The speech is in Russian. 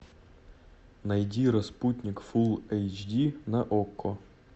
найди распутник фулл эйч ди на окко